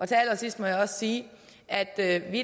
til allersidst må jeg også sige at at vi